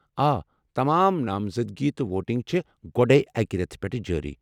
آ، تمام نامزدگی تہٕ ووٹنگ چھے٘ گۄڈے اکہِ رٮ۪تہٕ پٮ۪ٹھہٕ جٲری۔